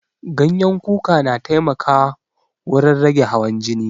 Ganyen kuka na taimaka wurin rage hawan jini